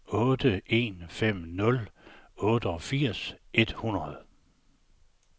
otte en fem nul otteogfirs et hundrede